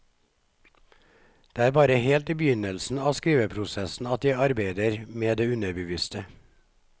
Det er bare helt i begynnelsen av skriveprosessen at jeg arbeider med det underbevisste.